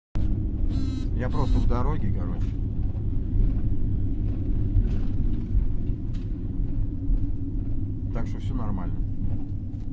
я просто в дороге короче так что всё нормально